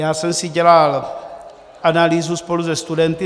Já jsem si dělal analýzu spolu se studenty.